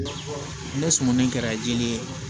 Ne sumunden kɛra jiri ye